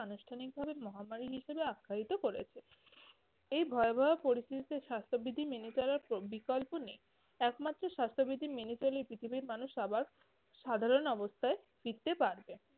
আনুষ্ঠানিকভাবে মহামারী হিসেবে আখ্যায়িত করেছে। এই ভয়াবহ পরিস্থিতিতে স্বাস্থ্যবিধি মেনে চলার প্র~ বিকল্প নেই। একমাত্র স্বাস্থ্যবিধি মেনে চললে পৃথিবীর মানুষ আবার সাধারণ অবস্থায় ফিরতে পারবে।